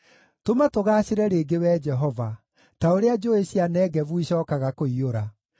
Tũma tũgaacĩre rĩngĩ, Wee Jehova, ta ũrĩa njũũĩ cia Negevu icookaga kũiyũra.